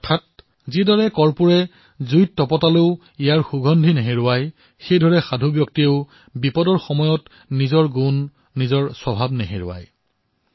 অৰ্থাৎ যিদৰে কৰ্পূৰ অগ্নিত দগ্ধ হৈও নিজৰ সুগন্ধ বিলাই থাকে ঠিক তেনেদৰে ভাল মানুহেও বিপদতো নিজৰ গুণ স্বভাৱ পৰিত্যাগ নকৰে